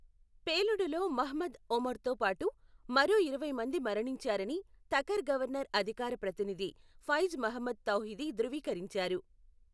పేలుడులో మహ్మద్ ఒమర్తో పాటు మరో ఇరవై మంది మరణించారని తఖర్ గవర్నర్ అధికార ప్రతినిధి ఫైజ్ మహ్మద్ తౌహిదీ ధృవీకరించారు.